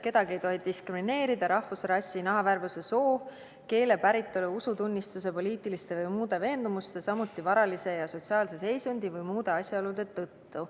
Kedagi ei tohi diskrimineerida rahvuse, rassi, nahavärvuse, soo, keele, päritolu, usutunnistuse, poliitiliste või muude veendumuste, samuti varalise ja sotsiaalse seisundi või muude asjaolude tõttu.